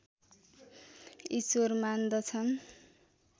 ईश्वर मान्दछन्